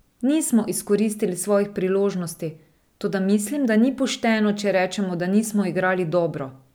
Nismo izkoristili svojih priložnosti, toda mislim, da ni pošteno, če rečemo, da nismo igrali dobro.